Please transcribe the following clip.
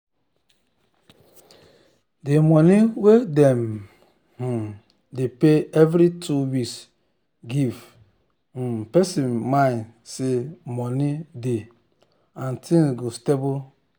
d money wey dem um dey pay every two weeks give um person mind say money dey and things go stable um